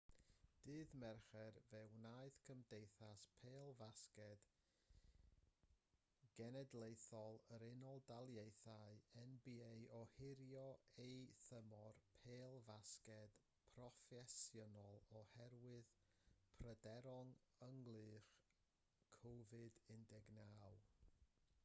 ddydd mercher fe wnaeth cymdeithas pêl-fasged genedlaethol yr unol daleithiau nba ohirio ei thymor pêl-fasged proffesiynol oherwydd pryderon ynghylch covid-19